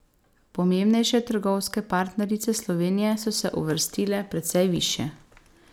Pomembnejše trgovske partnerice Slovenije so se uvrstile precej višje.